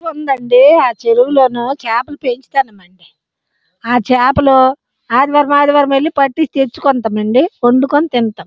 ఇక్కడ చెరువు వుంది అండీ ఆ చెరువులో చేపలు పంచుతున్నం ఆ చేపలు ఆదివారం ఆదివారం చేపలు పట్టుకొని వండుకొని తింటమ్.